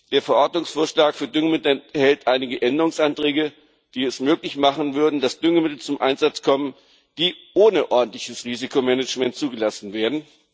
Der Verordnungsvorschlag für Düngemittel enthält einige Änderungsanträge, die es möglich machen würden, dass Düngemittel zum Einsatz kommen, die ohne ordentliches Risikomanagement zugelassen werden.